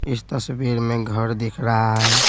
इस तस्वीर में घर दिख रहा है।